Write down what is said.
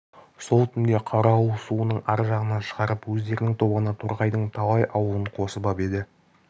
сол түнде қарауыл суының ар жағына шығарып өздерінің тобына торғайдың талай аулын қосып ап еді